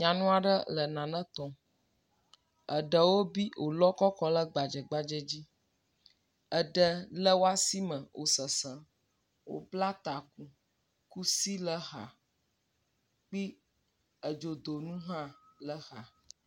Nyɔnu aɖe le nane tɔm, eɖewo bi wòlɔ kɔ kɔle gbadzegbadze dzi. Eɖe le woasi me wò sesem. Wòbla taku, kusi le exa kpi edzodonu hã le exa.